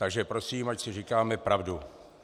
Takže prosím, ať si říkáme pravdu.